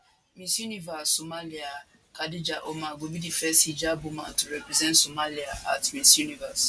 miss universe somalia khadija omar go be di first hijabi woman to represent somalia at miss universe